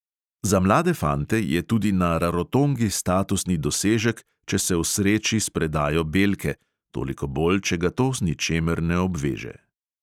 Za mlade fante je tudi na rarotongi statusni dosežek, če se osreči s predajo belke, toliko bolj, če ga to z ničemer ne obveže.